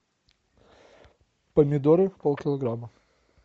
помидоры полкилограмма